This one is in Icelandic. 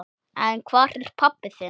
En hvar er pabbi þinn?